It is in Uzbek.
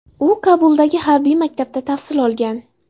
U Kobuldagi harbiy maktabda tahsil olgan.